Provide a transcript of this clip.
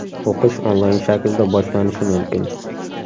O‘qish onlayn shaklda boshlanishi mumkin .